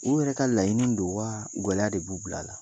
U yɛrɛ ka laɲini don wa gɛlɛya de b'u bila a la